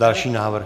Další návrh.